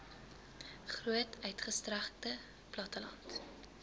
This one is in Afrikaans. groot uitgestrekte platteland